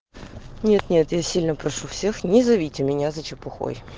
нет-нет я сильно прошу всех не зовите меня за чепухой